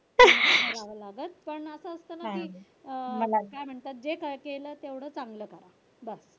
करावं लागत पण असं असतं ना की अं काय म्हणतात जे केलं तेवढं चांगलं करा.